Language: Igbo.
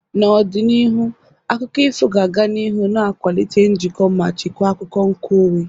N'ọdịnihu, akụkọ ifo ga-aga n'ihu na-akwalite njikọ ma chekwaa akụkọ nkeonwe.